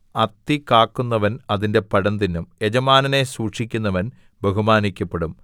അത്തികാക്കുന്നവൻ അതിന്റെ പഴം തിന്നും യജമാനനെ സൂക്ഷിക്കുന്നവൻ ബഹുമാനിക്കപ്പെടും